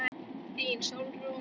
Þín, Sólrún.